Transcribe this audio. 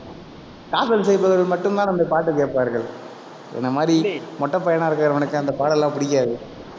காதல் செய்பவர்கள் மட்டும்தான் அந்த பாட்டு கேட்பார்கள். என்னை மாதிரி மொட்டை பையனா இருக்கிறவனுக்கு அந்த பாடல் எல்லாம் பிடிக்காது